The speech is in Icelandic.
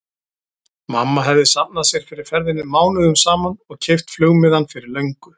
Mamma hefði safnað sér fyrir ferðinni mánuðum saman og keypt flugmiðann fyrir löngu.